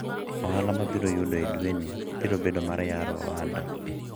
ohala ma abiro yudo dweni biro bedo mar yaro ohanda